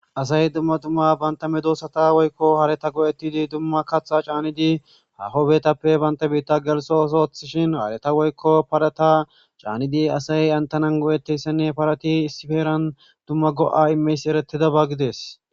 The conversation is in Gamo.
Asay duma duma bantta medossata woykko hareta go'etidi duma kaththa caanidi haaho bittape bantta bitha geliso ooso ottishin hareta woykko parata caanidi asay hanitanan go'etiyaysane parati issi heran duma go'a imiyayis eretiyaba gides.